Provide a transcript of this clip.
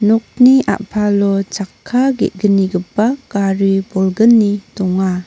nokni a·palo chakka ge·gnigipa gari bolgni donga.